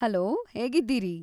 Hello, ಹೇಗಿದ್ದೀರಿ?